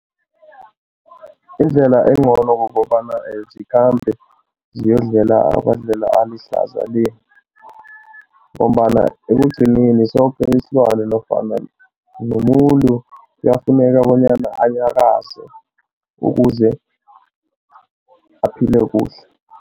Indlela engcono kukobana zikhambe ziyodlela emadlelo alihlaza le ngombana ekugcineni soke isilwane nofana nomuntu kuyafuneka bonyana anyakaze ukuze aphile kuhle.